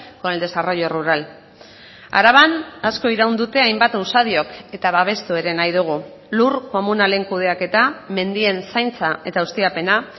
con el desarrollo rural araban asko iraun dute hainbat usadiok eta babestu ere nahi dugu lur komunalen kudeaketa mendien zaintza eta ustiapena